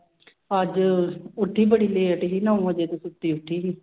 ਅੱਜ ਉੱਠੀ ਬੜੀ late ਸੀ, ਨੋਂ ਵਜੇ ਤੇ ਸੁੱਤੀ ਉੱਠੀ ਸੀ